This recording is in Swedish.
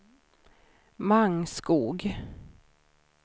Mangskog